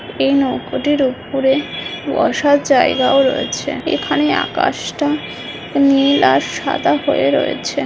এই নৌকোটির ওপরে ওয়াসা জায়গাও রয়েছে এখানে আকাশটা নীল আর সাদা হয়ে রয়েছে।